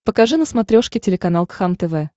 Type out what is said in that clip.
покажи на смотрешке телеканал кхлм тв